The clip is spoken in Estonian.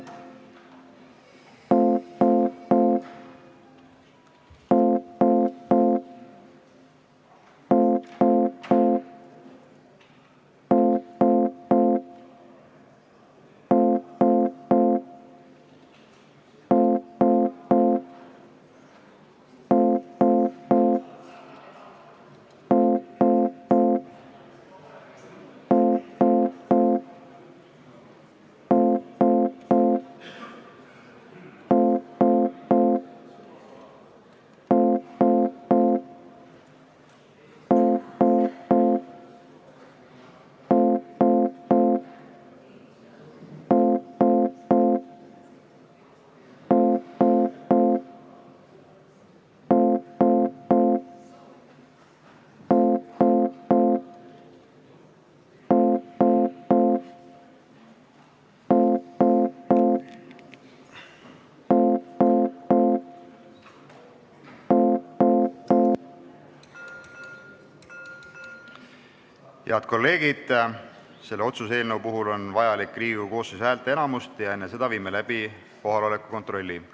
Lugupeetud kolleegid, selle otsuse eelnõu heakskiitmiseks on vaja Riigikogu koosseisu häälteenamust, seega viime läbi kohaloleku kontrolli.